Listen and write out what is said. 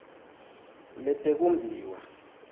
letekumbiwa